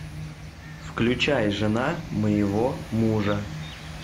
включай жена моего мужа